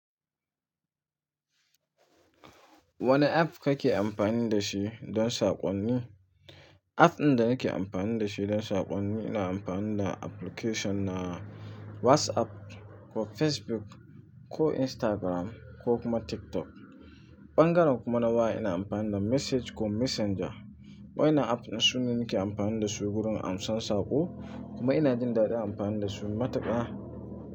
Wane app kake amfani da shi don saƙonni? App ɗin da nake amfani da shi don saƙonni ina amfani da application na WhatsApp ko Facebook ko Instagram ko kuma TikTok. Ɓangaren kuma na waya ina amfani da message ko messenger. Waɗannan apps su ne nake amfani da su wurin amsan saƙo kuma ina jin daɗin amfani da su matuƙa.